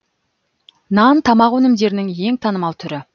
нан тамақ өнімдерінің ең танымал түрі